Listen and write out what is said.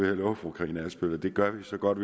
vil love fru karina adsbøl at det gør vi så godt